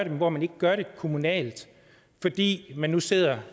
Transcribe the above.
men hvor man ikke gør det kommunalt fordi man nu sidder